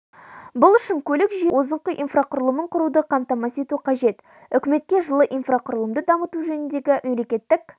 бұл үшін көлік жүйесінің озыңқы инфрақұрылымын құруды қамтамасыз ету қажет үкіметке жылы инфрақұрылымды дамыту жөніндегі мемлекеттік